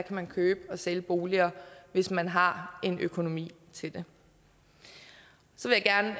man købe og sælge boliger hvis man har økonomien til det så vil jeg